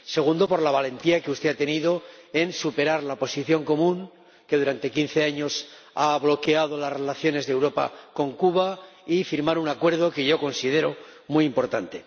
Segundo, por la valentía que ha demostrado al superar la Posición Común que durante quince años ha bloqueado las relaciones de Europa con Cuba y firmar un acuerdo que yo considero muy importante.